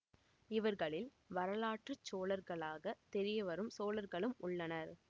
இவர்களில் வரலாற்று சோழர்களாகத் தெரியவரும் சோழர்களும் உள்ளனர்